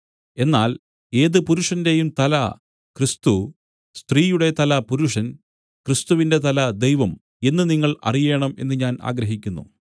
എന്നാൽ ഏതു പുരുഷന്റെയും തല ക്രിസ്തു സ്ത്രീയുടെ തല പുരുഷൻ ക്രിസ്തുവിന്റെ തല ദൈവം എന്ന് നിങ്ങൾ അറിയണം എന്ന് ഞാൻ ആഗ്രഹിക്കുന്നു